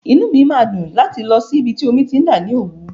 Inú mi máa dùn láti lọ sí ibi tí omi ti ń dà ní Òwú.